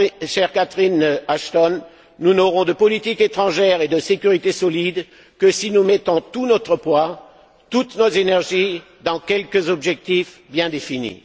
Chère Catherine Ashton, nous n'aurons de politique étrangère et de sécurité solide que si nous mettons tout notre poids, toutes nos énergies dans quelques objectifs bien définis.